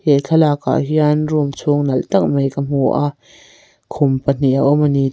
he thlalakah hian room chhung nalh tak mai ka hmu a khum pahnih a awm a ni.